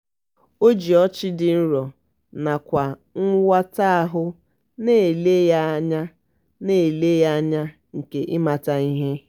o ji ọchị dị nro nakwere nwata ahụ na-ele ya anya na-ele ya anya nke ịmata ihe.